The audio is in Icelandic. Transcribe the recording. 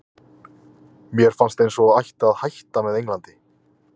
Mér fannst eins og ég ætti að hætta með Englandi?